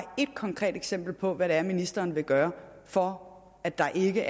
et konkret eksempel på hvad det er ministeren vil gøre for at der ikke